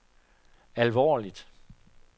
alvorligt